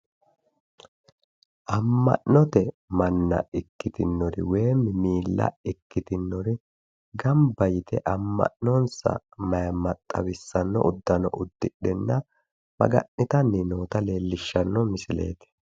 Amma'note manna woy miilla ikkitinori gamba yite amma'nonsa maayimma xawissanno uddano uddidhenna maga'nitanni noota leellishshanno misileeti.